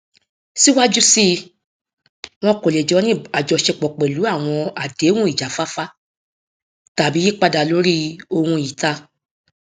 síwájú síi wọn kò lè jọ ní àjọṣepọ pẹlú àwọn àdéhùn ìjáfáfá tàbí yípadà lórí ohun ìta